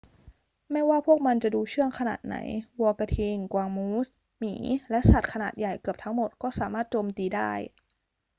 ไม่ว่าพวกมันจะดูเชื่องขนาดไหน วัวกระทิง กวางมูส หมี และสัตว์ขนาดใหญ่เกือบทั้งหมดก็สามารถโจมตีได้